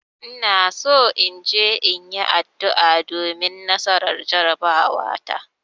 Ina so in je in yi addu'a domin nasarar jarabawata.